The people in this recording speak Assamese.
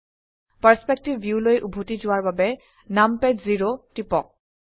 পাৰ্চপেক্টিভ ভিউলৈ উভতি যোৱাৰ বাবে নামপাদ জেৰ টিপক